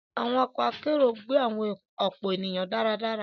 Àwọn ọkọ akero gbé ọpọlọpọ ènìyàn dáradára